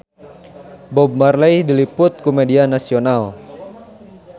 Bob Marley diliput ku media nasional